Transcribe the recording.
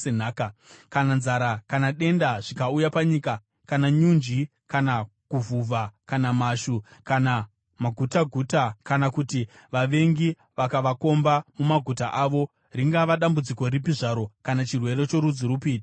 “Kana nzara kana denda zvikauya panyika, kana nyunje, kana kuvhuvha kana mhashu kana magutaguta kana kuti vavengi vakavakomba mumaguta avo, ringava dambudziko ripi zvaro kana chirwere chorudzi rupi chingauya,